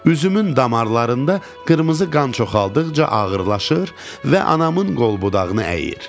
Üzümün damarlarında qırmızı qan çoxaldıqca ağırlaşır və anamın qolbudağını əyir.